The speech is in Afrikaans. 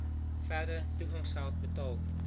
verdere toegangsgeld betaal